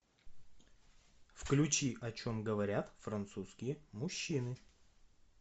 включи о чем говорят французские мужчины